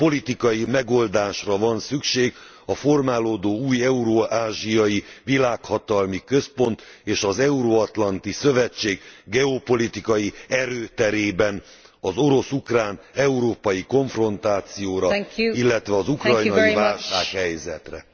Politikai megoldásra van szükség a formálódó új eurázsiai világhatalmi központ és az euro atlanti szövetség geopolitikai erőterében az orosz ukrán európai konfrontációra, illetve az ukrajnai válsághelyzetre.